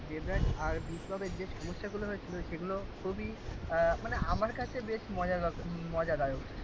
দেবরাজ আর বিপ্লবের যে সমস্যাগুলো হয়েছিল সেগুলো খুবই আহ মানে আমার কাছে বেশ মজার ব্যাপার মজাদার